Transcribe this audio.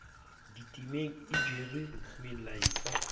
ditemeng e jere molaetsa o